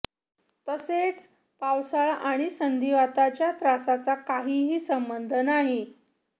तसेच पावसाळा आणि संधिवाताच्या त्रासाचा काहीही संबंध नाही